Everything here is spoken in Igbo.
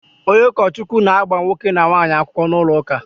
Onye ukochukwu na-agba nwoke na nwaanyi akwukwo n'ulo uka